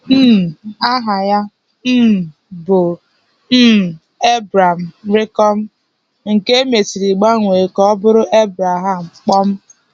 um Aha ya um bụ um Ebrem, nke e mesịrị gbanwee ka ọ bụrụ Ebreham.